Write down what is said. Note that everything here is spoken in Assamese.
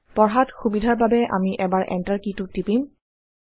পঢ়াত সুবিধাৰ বাবে আমি এবাৰ Enter কি টো টিপিম